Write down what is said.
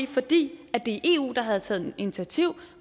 fordi det er eu der har taget initiativ